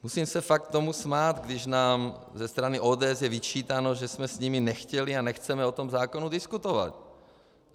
Musím se tomu fakt smát, když nám ze strany ODS je vyčítáno, že jsme s nimi nechtěli a nechceme o tom zákonu diskutovat.